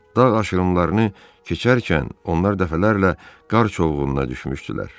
Dağ aşırımlarını keçərkən onlar dəfələrlə qar çovğununa düşmüşdülər.